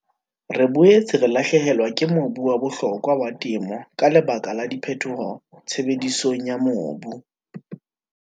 Re boetse re lahlehelwa ke mobu wa bohlokwa wa temo ka lebaka la diphetoho tshebedisong ya mobu.